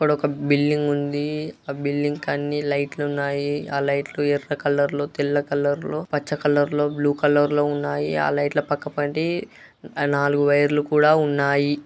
ఇక్కడ ఒక బిల్డింగ్ ఉంది. ఆ బిల్డింగ్ కి అన్ని లైట్ లు ఉన్నాయి. ఆ లైట్ లు ఎర్ర కలర్ లో తెల్ల కలర్ లో పచ్చ కలర్ లో బ్లూ కలర్ లో ఉన్నాయి. ఆ లైట్ ల పక్కపొంటి నాలుగు వైర్ లు కూడా ఉన్నాయి.